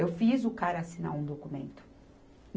Eu fiz o cara assinar um documento.